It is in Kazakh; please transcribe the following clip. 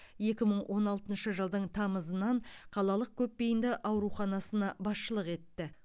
екі мың он алтыншы жылдың тамызынан қалалық көпбейінді ауруханасына басшылық етті